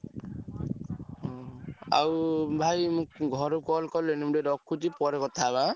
ହୁଁ ଆଉ ଭାଇ ଘରୁ call କଲେଣି ମୁଁ ଟିକେ ରଖୁଛି ପରେ କଥା ହବା ଆଁ।